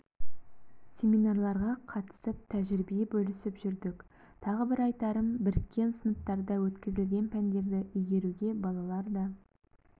семинарларға қатысып тәжірибе бөлісіп жүрдік тағы бір айтарым біріккен сыныптарда өткізілген пәндерді игеруге балалар да